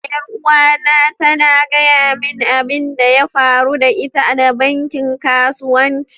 yaruwa na ta gaya min abin da ya faru da ita da bankin kasuwanci.